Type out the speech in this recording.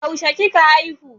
Yaushe kika haihu